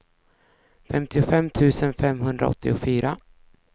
femtiofem tusen femhundraåttiofyra